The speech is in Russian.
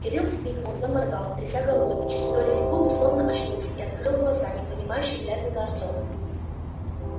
кирилл вскрикнул заморгал тряся головой и через доли секунды словно очнулся и открыл глаза непонимающе глядя на артёма